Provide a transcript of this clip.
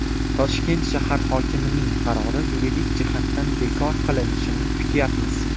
Toshkent shahar hokimining qarori yuridik jihatdan bekor qilinishini kutyapmiz.